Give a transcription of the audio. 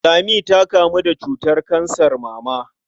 Lami ta kamu da cutar kansar mama.